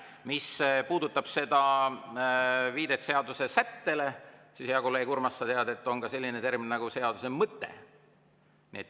Mis puudutab viidet seadusesättele, siis, hea kolleeg Urmas, sa tead, et on selline termin nagu "seaduse mõte".